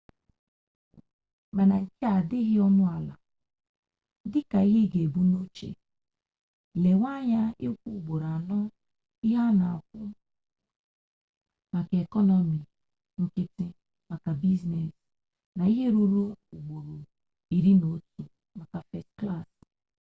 mana nke a adịghị ọnụ ala dịka ihe i ga-ebu n'uche lewe anya ịkwụ ugboro anọ ihe a na-akwụ maka ekọnọmi nkịtị maka biznes na ihe ruru ugboro iri na otu maka fest klas